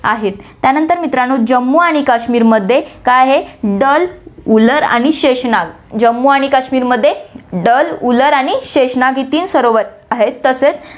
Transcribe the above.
आहेत. त्यानंतर मित्रांनो, जम्मू आणि काश्मीरमध्ये काय आहे डल, उलर आणि शेषनाग, जम्मू आणि काश्मीरमध्ये डल, उलर आणि शेषनाग ही तीन सरोवर आहेत तसेच